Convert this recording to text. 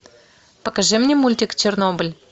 покажи мне мультик чернобыль